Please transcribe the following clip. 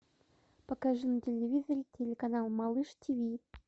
покажи на телевизоре телеканал малыш тв